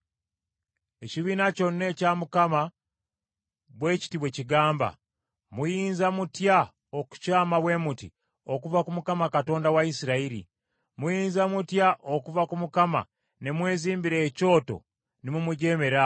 “Ekibiina kyonna ekya Mukama bwe kiti bwe kigamba, ‘Muyinza mutya okukyama bwe muti okuva ku Katonda wa Isirayiri? Muyinza mutya okuva ku Mukama ne mwezimbira ekyoto ne mumujeemera awo?